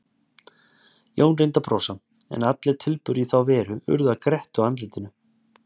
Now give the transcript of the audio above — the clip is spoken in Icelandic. Jón reyndi að brosa, en allir tilburðir í þá veru urðu að grettu á andlitinu.